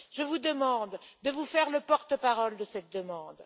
Je vous demande de vous faire le porte parole de cette demande.